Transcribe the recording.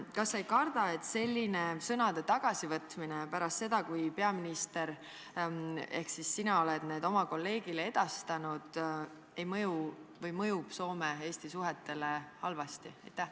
" Kas sa ei karda, et selline sõnade tagasivõtmine pärast seda, kui peaminister ehk sina oled need oma kolleegile edastanud, mõjub Soome ja Eesti suhetele halvasti?